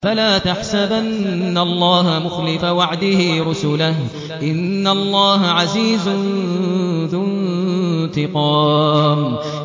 فَلَا تَحْسَبَنَّ اللَّهَ مُخْلِفَ وَعْدِهِ رُسُلَهُ ۗ إِنَّ اللَّهَ عَزِيزٌ ذُو انتِقَامٍ